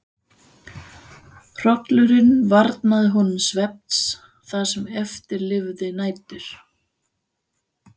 Hrollurinn varnaði honum svefns það sem eftir lifði nætur.